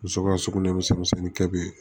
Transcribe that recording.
Muso ka sugunɛ misɛnnin kɛ bi